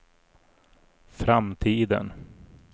framtiden